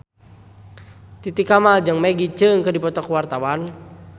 Titi Kamal jeung Maggie Cheung keur dipoto ku wartawan